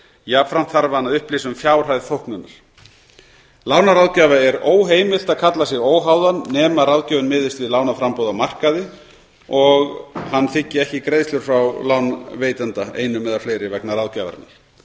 jafnframt þarf hann að upplýsa um fjárhæð þóknunar lánaráðgjafa er óheimilt að kalla sig óháðan nema ráðgjöfin miðist við lánaframboð á markaði og hann þiggi ekki greiðslur frá lánveitanda einum eða fleiri vegna ráðgjafarinnar